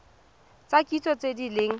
tsa kitso tse di leng